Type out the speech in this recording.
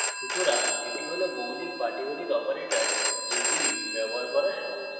সুতরাং এটি হল মৌলিক পাটীগণিত operators যেগুলি ব্যবহার করা সহজ